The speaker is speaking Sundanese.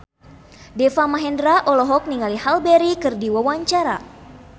Deva Mahendra olohok ningali Halle Berry keur diwawancara